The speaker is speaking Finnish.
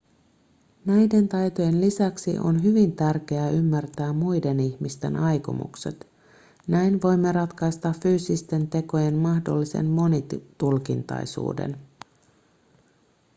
näiden taitojen lisäksi on hyvin tärkeää ymmärtää muiden ihmisten aikomukset näin voimme ratkaista fyysisten tekojen mahdollisen monitulkintaisuuden